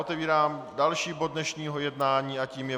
Otevírám další bod dnešního jednání a tím je